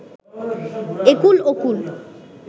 একুল ওকুল